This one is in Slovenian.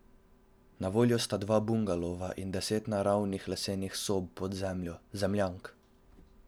Na voljo sta dva bungalova in deset naravnih lesenih sob pod zemljo, zemljank.